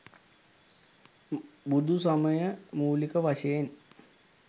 බුදුසමය මූලික වශයෙන්